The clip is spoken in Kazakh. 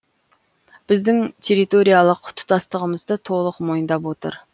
біздің территориялық тұтастығымызды толық мойындап отыр